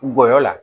Ngɔyɔ la